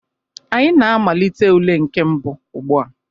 Anyị na-amalite ule nke mbụ ugbu a.